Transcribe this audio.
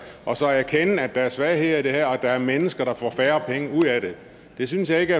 og så erkende at der er svagheder i det her og at der er mennesker der får færre penge ud af det jeg synes ikke